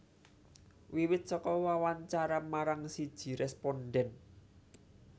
Wiwit saka wawancara marang siji rèspondhen